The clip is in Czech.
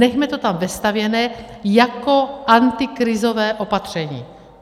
Nechme to tam vestavěné jako antikrizové opatření.